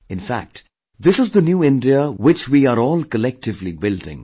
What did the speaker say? In fact, this is the New India which we are all collectively building